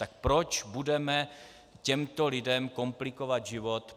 Tak proč budeme těmto lidem komplikovat život?